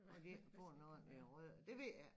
Når de ikke får nogen ordentlige rødder det ved jeg ikke